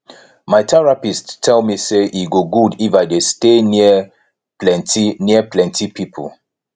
my therapist tell me say e go good if i dey stay near plenty near plenty people